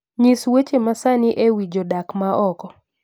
nyis weche masani ewi jodak ma oko